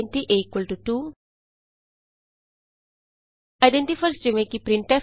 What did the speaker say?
int a2 identifiers easy